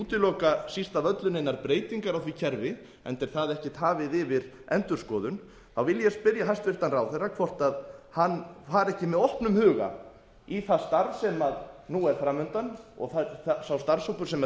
vilji síst af öllu útiloka neinar breytingar á því kerfi enda er það ekkert hafið yfir endurskoðun vil ég spyrja hæstvirtan ráðherra hvort hann fari ekki með opnum huga í það starf sem nú er fram undan og hvort sá starfshópur sem